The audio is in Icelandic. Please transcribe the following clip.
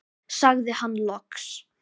sagði hann loks.